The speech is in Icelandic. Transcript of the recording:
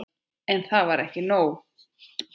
En það var nóg.